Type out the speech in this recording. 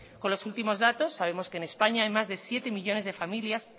con los últimos datos sabemos que en españa hay más de siete millónes de familias